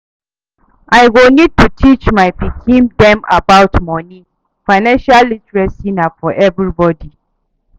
I go need to teach my pikin dem about moni, financial literacy na for everybody